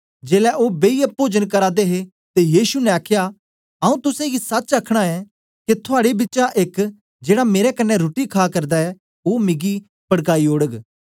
जेलै ओ बेईयै पोजन करा दे हे ते यीशु ने आखया आऊँ तुसेंगी सच आखना ऐं के थुआड़े बिचा एक जेड़ा मेरे कन्ने रुट्टी खा करदा ऐ ओ मिगी पड़काई ओड़ग